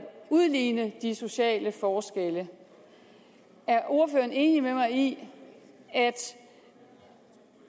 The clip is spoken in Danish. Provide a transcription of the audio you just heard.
at udligne de sociale forskelle er ordføreren enig med mig i at